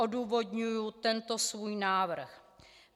Odůvodňuji tento svůj návrh.